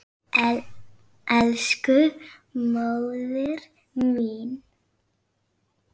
Elsku móðir mín.